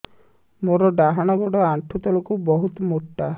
ମୋର ଡାହାଣ ଗୋଡ ଆଣ୍ଠୁ ତଳୁକୁ ବହୁତ ମୋଟା